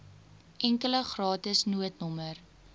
enkele gratis noodnommer